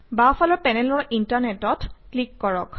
বাওঁফালৰ পেনেলৰ Internet অত ক্লিক কৰক